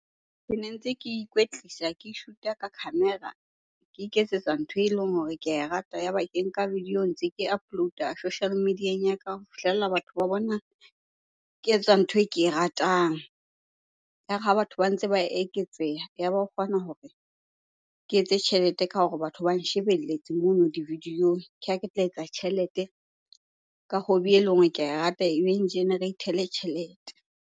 Kene ntse ke ikwetlisa ke shoot-a ka camera, ke iketsetsa ntho eleng hore ke ae rata. Yaba ke nka video ntse ke upload-a social media-eng ya ka ho fihlella batho ba bona ke etsa ntho e ke e ratang. Ya re ha batho ba ntse ba eketseha, yaba ho kgona hore ke etse tjhelete ka hore batho ba nshebelletse mono di-video-ong. Kha ke tla etsa tjhelete ka hobby eleng hore ke ae rata e generator-ele tjhelete.